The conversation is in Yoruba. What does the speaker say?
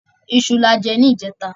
Iṣu lajẹ ní ìjẹta.